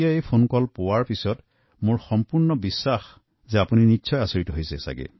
মোৰ বিশ্বাস এই ফোনৰ বিষয়বস্তু শুনাৰ পাছত আপোনালোক কেৱল সজাগে নহয় এনে ভুল নকৰাৰ সিদ্ধান্ত লৈছে